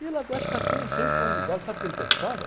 E ele até, acho que até uns oito anos de idade, sabe o que ele pensava?